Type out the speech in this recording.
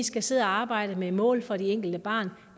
skal sidde og arbejde med mål for det enkelte barn